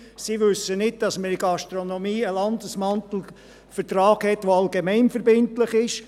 sie wissen nicht, dass wir in der Gastronomie einen Landesmantelvertrag haben, der allgemeinverbindlich ist.